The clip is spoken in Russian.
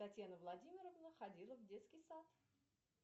татьяна владимировна ходила в детский сад